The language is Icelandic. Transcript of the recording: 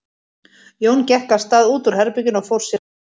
Jón gekk af stað út úr herberginu og fór sér hægt.